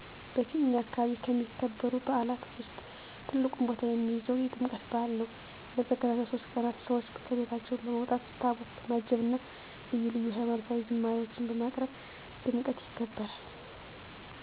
በእኛ አከባቢ ከሚከበሩ በዓላት ውስጥ ትልቁን ቦታ የሚይዘው የጥምቀት በዓል ነው። ለተከታታይ 3 ቀናት ሰዎች ከቤታቸው በመውጣት ታቦት በማጀብ እና ልዩ ልዩ ሀይማኖታዊ ዝማሪዎችን በማቅረብ በድምቀት ይከበራል።